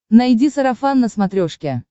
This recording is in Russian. найди сарафан на смотрешке